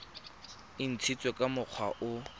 e ntshitsweng ka mokgwa o